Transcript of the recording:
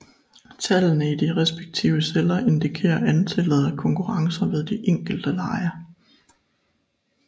Tallene i de respektive celler indikerer antallet af konkurrencer ved de enkelte lege